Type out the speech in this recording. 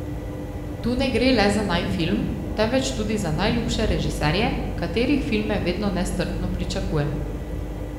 Tu ne gre le za naj film, temveč tudi za najljubše režiserje, katerih filme vedno nestrpno pričakujem.